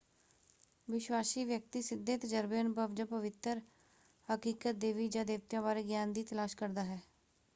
ਵਿਸ਼ਵਾਸੀ ਵਿਅਕਤੀ ਸਿੱਧੇ ਤਜਰਬੇ ਅਨੁਭਵ ਜਾਂ ਪਵਿੱਤਰ ਹਕੀਕਤ/ਦੇਵੀ ਜਾਂ ਦੇਵਤਿਆਂ ਬਾਰੇ ਗਿਆਨ ਦੀ ਤਲਾਸ਼ ਕਰਦਾ ਹੈ।